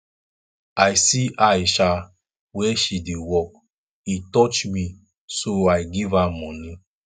i see aisha where she dey work e touch me so i give am money